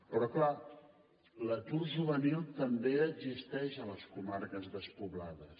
però és clar l’atur juvenil també existeix a les comarques despoblades